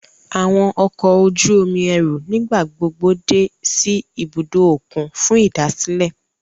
Awọn ọkọ oju-omi ẹru nigbagbogbo dé si ìbùdó okùn fún idasilẹ